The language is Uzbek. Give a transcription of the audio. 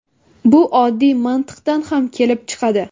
Bu oddiy mantiqdan ham kelib chiqadi.